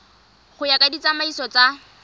go ya ka ditsamaiso tsa